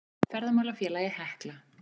Ferðamálafélagið Hekla.